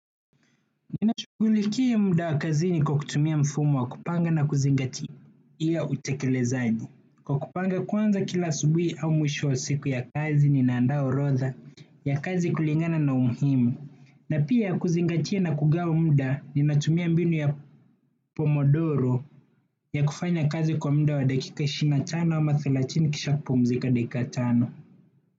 Ninashughulikia muda wa kazini kwa kutumia mfumo wa kupanga na kuzingatia utekelezaji. Kwa kupanga kwanza kila asubuhi au mwisho wa siku ya kazi ninaandaa orodha ya kazi kulingana na umuhimu. Na pia kuzingatia na kugawa muda ninatumia mbinu ya pomodoro ya kufanya kazi kwa muda wa dakika ishirini na tano ama thelatini kisha kupumzika dakika tano.